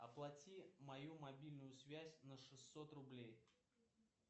оплати мою мобильную связь на шестьсот рублей